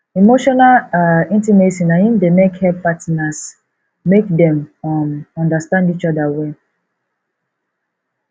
emotional um intimacy na im dey help partners make dem um understand each other well